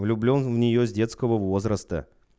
влюблён в нее с детского возраста